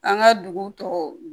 An ka dugu tɔw